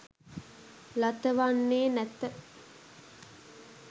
ලතවන්නේ නැත.